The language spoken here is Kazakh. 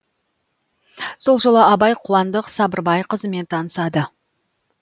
сол жылы абай қуандық сабырбай қызымен танысады